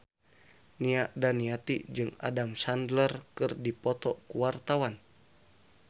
Nia Daniati jeung Adam Sandler keur dipoto ku wartawan